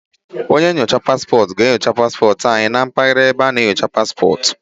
Onye nnyocha paspọtụ ga-enyocha paspọtụ anyị na mpaghara ebe a na-enyocha paspọtụ.